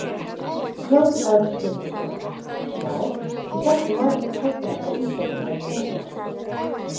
Jón Örn Guðbjartsson: Já, ég hélt hún væri úr Kaupfélaginu á Ísafirði eða Þingeyri?